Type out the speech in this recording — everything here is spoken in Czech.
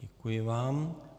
Děkuji vám.